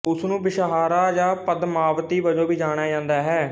ਉਸ ਨੂੰ ਵਿਸ਼ਾਹਰਾ ਜਾਂ ਪਦਮਾਵਤੀ ਵਜੋਂ ਵੀ ਜਾਣਿਆ ਜਾਂਦਾ ਹੈ